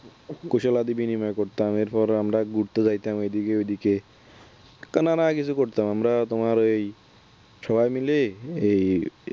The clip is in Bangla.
কুসালাদি বিনিময় করতাম এরপরে আমরা ঘুরতে যাইতাম এদিকে ওদিকে কেননা নানান কিছু করতাম আমরা তোমার ওই সবাই মিলেএই